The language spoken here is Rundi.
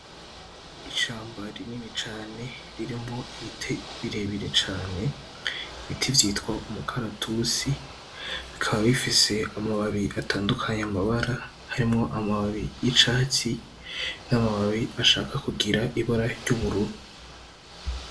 Ishamba rinini cane ririmwo ibiti birebire cane ibiti vyitwa umukaratusi bikaba bifise amababi atandukanye amabara harimwo amababi y'icatsi n'amababi ashaka kugira ibara ry'ubururu.